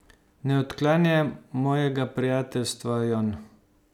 Ne odklanjaj mojega prijateljstva, Jon.